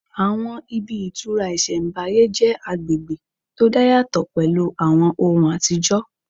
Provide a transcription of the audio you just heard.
Àwọn ibi ìtura ìsẹ̀mbáyé jẹ́ agbègbè tó dá yàtọ̀ pẹ̀lú àwọn ohùn àtijọ́